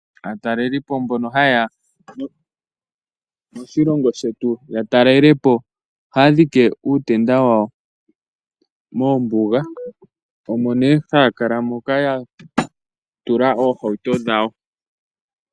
Aatalelipo mbono haye ya moshilongo shetu ya talele po ohaa dhike uutenda wawo moombuga omo nee haa kala moka ya tula oohauto dhawo.